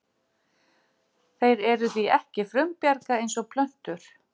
Þeir eru því ekki frumbjarga eins og plöntur.